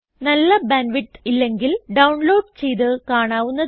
നല്ല bandwidth ഇല്ലെങ്കിൽ download ചെയ്ത് കാണാവുന്നതാണ്